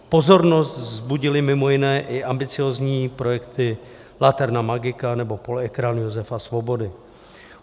Pozornost vzbudily, mimo jiné, i ambiciózní projekty Laterna Magika nebo Polyekran Josefa Svobody.